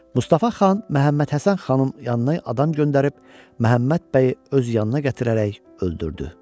Mustafa xan Məhəmməd Həsən xanın yanına adam göndərib Məhəmməd bəyi öz yanına gətirərək öldürdü.